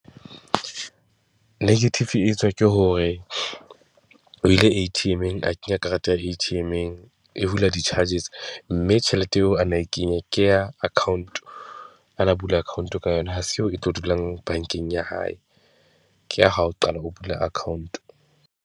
Negative e etswa ke hore o ile A_T_M-eng, a kenya karata ya a A_T_M-eng, e hula di-charges mme tjhelete eo a na e kenya ke ya account, a na bula account ka yona. Ha se e tlo dulang bankeng ya hae, ke ha o qala o bula account.